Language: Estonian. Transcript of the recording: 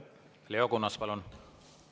Leo Kunnas, palun!